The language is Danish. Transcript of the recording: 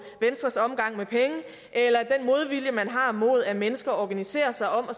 venstres omgang med penge eller den modvilje man har mod at mennesker organiserer sig om at